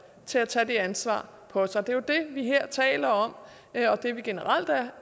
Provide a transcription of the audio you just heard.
til at tage det ansvar på sig det er jo det vi her taler om og det vi generelt